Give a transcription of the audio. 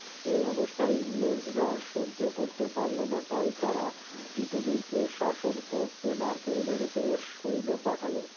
এর অবস্থা ইংরেজরা সহ্য করতে পারলোনা তাই তারা তীতুমীরকে শাসন করতে নারকেল বেড়েতে সৈন্য পাঠালো